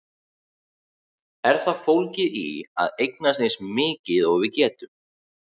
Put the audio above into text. Er það fólgið í að eignast eins mikið og við getum?